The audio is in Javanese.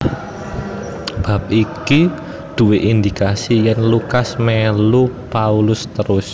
Bab iki duwé indikasi yèn Lukas mélu Paulus terus